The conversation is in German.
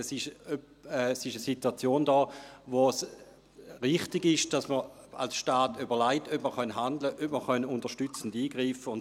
Es ist eine Situation vorhanden, aufgrund der es richtig ist, dass man sich als Staat überlegt, ob man handeln, ob man unterstützend eingreifen kann.